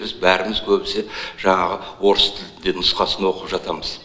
біз бәріміз көбісі жаңағы орыс тілді нұсқасын оқып жатамыз